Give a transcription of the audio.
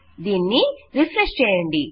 దీనిని రిఫ్రెష్ చేయండి